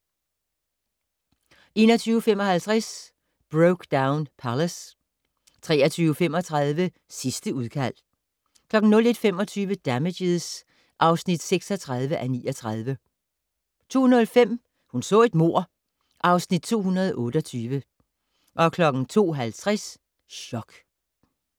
21:55: Brokedown Palace 23:35: Sidste udkald 01:25: Damages (36:39) 02:05: Hun så et mord (Afs. 228) 02:50: Chok